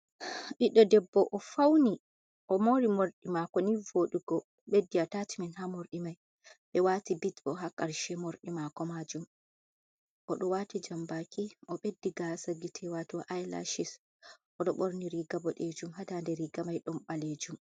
Ɓiɗɗo Debbo: O fauni, o'mori morɗi mako ni vodugo. Obeddi attachment ha morɗi mai. Ɓe waati bit bo ha karshe mordi mako majum. Oɗo waati jambaki, o beddi gasa gite wato i-lashis, oɗo ɓorni riga boɗejum ha daande riga mai ɗon ɓalejum.